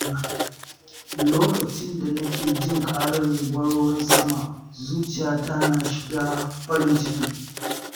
Lokacin da nake jin ƙarar zubar ruwan sama, zuciyata na shiga farin ciki.